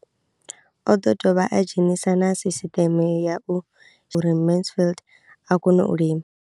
O ḓo dovha a dzhenisa na sisiṱeme ya u uri Mansfied a kone u lima.